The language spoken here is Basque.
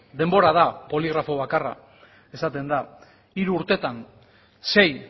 denbora da poligrafo bakarra esaten da hiru urteetan sei